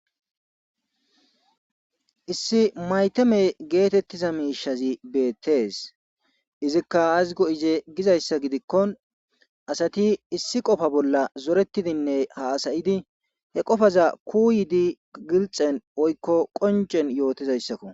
issi maytame geetettiza miishazi beettees izikka hazgo7ize gizayssa gidikko asati issi qofa bolla zoretidinne haasayidi he qofaza kuu yidi gilxen oykko qoncen yootizayssakko